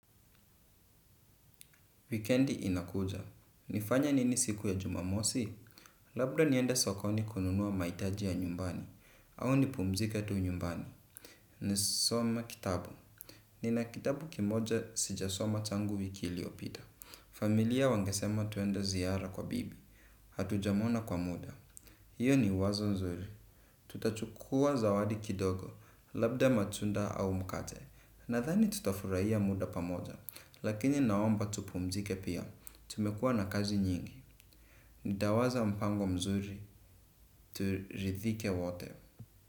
Wikiendi inakuja. Nifanye nini siku ya jumamosi? Labda niende sokoni kununua maitaji ya nyumbani. Au nipumzike tu nyumbani. Nisome kitabu. Nina kitabu kimoja sijasoma tangu wiki iliopita. Familia wangesema tuenda ziara kwa bibi. Hatujamona kwa muda. Iyo ni wazo zuri, tutachukua zawadi kidogo, labda matunda au mkate, nadhani tutafurahia muda pamoja, lakini naomba tupumzike pia, tumekua na kazi nyingi, nitawaza mpango mzuri, turidhike wote.